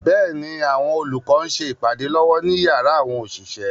Bẹ́ẹ̀ni, àwọn olùkọ́ ń ṣe ìpàdé lọ́wọ́ ní yàrá àwọn òṣìṣẹ́.